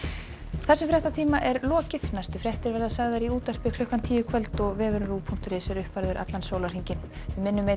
þessum fréttatíma er lokið næstu fréttir verða sagðar í útvarpi klukkan tíu í kvöld og vefurinn RÚV punktur is er uppfærður allan sólarhringinn við minnum einnig